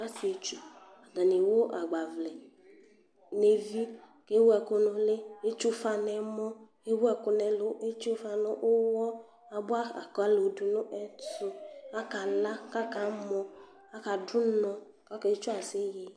Zsɩetsʊ atanɩ ewʊ agbavlɛ nevɩ, ewʊ ɛkʊ nʊlɩ, kewʊ ʊfa nɛmɔ, ewʊ ɛkʊ nɛlʊ, etsʊ ufa nʊyɔ, abʊa akalo du nɛtʊ Akala kakamɔ, aka dʊnɔ, ake tsʊaseye